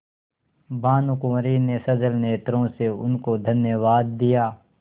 भानुकुँवरि ने सजल नेत्रों से उनको धन्यवाद दिया